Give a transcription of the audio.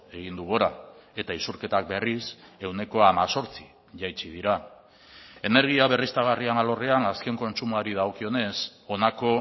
egin du gora eta isurketak berriz ehuneko hemezortzi jaitsi dira energia berriztagarrien alorrean azken kontsumoari dagokionez honako